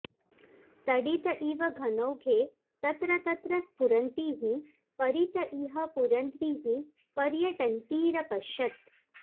तडित इव घनौघे तत्र तत्र स्फुरन्तीः परित इह पुरन्ध्रीः पर्यटन्तीरपश्यत्